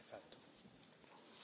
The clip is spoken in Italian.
Grazie Presidente.